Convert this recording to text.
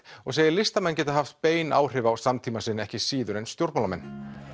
og segir listamenn geta haft bein áhrif á samtíma sinn ekki síður en stjórnmálamenn